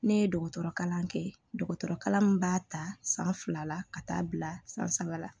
Ne ye dɔgɔtɔrɔ kalan kɛ dɔgɔtɔrɔkalan min b'a ta san fila ka taa bila san saba la